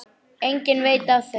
Enginn veit af þeim.